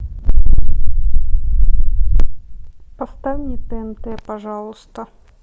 поставь мне тнт пожалуйста